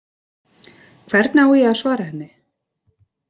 Hvernig á ég að svara henni?